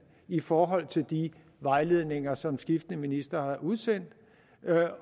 i forhold til de vejledninger som skiftende ministre har udsendt